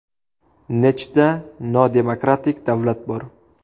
Nechta nodemokratik davlat bor?